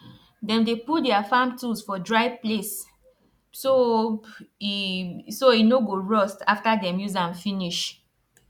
them dey put their farm tools for dry place so e so e no go rust after them use am finish